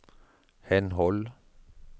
henhold